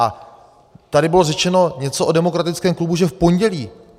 A tady bylo řečeno něco o Demokratickém bloku, že v pondělí.